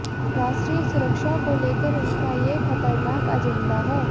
राष्ट्रीय सुरक्षा को लेकर उनका ये खतरनाक अजेंडा है